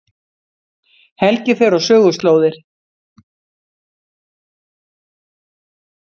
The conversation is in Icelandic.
Helgi fer á söguslóðir